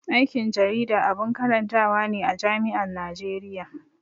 Aikin jarida abun karantawa ne a jami'an Najeriya.